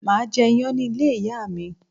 Máà jẹ iyán ní ilé ìyá mi